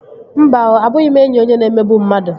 Mba oo, abụghị m enyi onye na-emegbu mmadụ